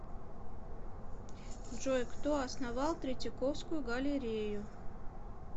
джой кто основал третьяковскую галлерею